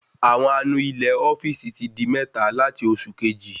Àwọn anu ilé ofíìsì ti di méta lati oṣù Kejì